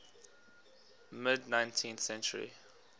mid nineteenth century